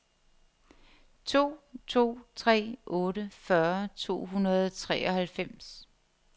to to tre otte fyrre to hundrede og treoghalvfems